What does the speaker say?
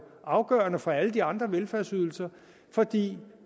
afgørende fra alle de andre velfærdsydelser fordi